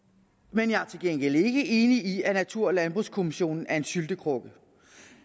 men jeg er til gengæld ikke enig i at natur og landbrugskommissionen er en syltekrukke